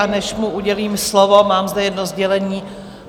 A než mu udělím slovo, mám zde jedno sdělení.